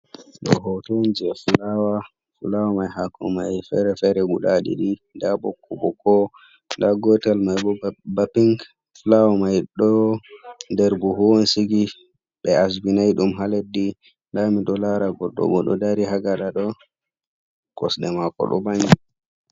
Ɗo hoto on je fulawa fulawa mai hako mai fere-fere guda ɗiɗi nda ɓokko ɓokko, nda gotel mai bo ba ping fulawa mai ɗo nder buhu on sigi ɓe asbinai ɗum ha leddi, nda mi ɗo lara goɗɗo bo ɗo dari ha gaɗa ɗo kosɗe mako ɗo vangi.